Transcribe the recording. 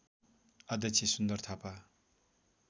अध्यक्ष सुन्दर थापा